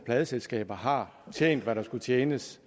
pladeselskaber har tjent hvad der skulle tjenes